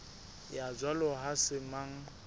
ya jwalo ha se mang